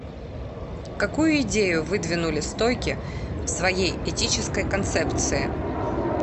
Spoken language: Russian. какую идею выдвинули стойки в своей этической концепции